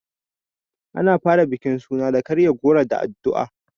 Ana fara bukin suna da karya goro da addu'a.